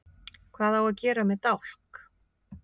Hvað á að gera með dálk?